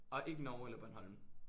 Og ikke Norge eller Bornholm?